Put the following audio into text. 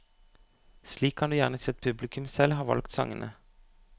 Slik kan du gjerne si at publikum selv har valgt sangene.